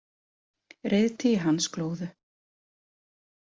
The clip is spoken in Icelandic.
Reiðtygi hans glóðu.